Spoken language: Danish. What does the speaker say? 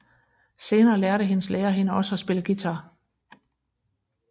Senere lærte hendes lærer hende også at spille guitar